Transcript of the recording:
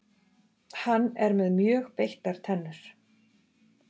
Hann er með mjög beittar tennur.